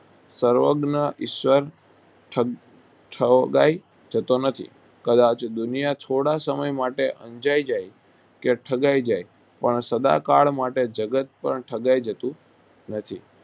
સર્વજ્ઞ ઈશ્વર ઠગ ઠગાઈ જતો નથી કદાચ દુનિયા થોડા સમય માટે અંજાઈ જાય કે ઠગાઈ જાય પણ સદાકાળ માટે જગત પણ ઠગાઈ જતું નથી